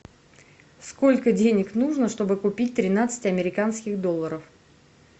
сколько денег нужно чтобы купить тринадцать американских долларов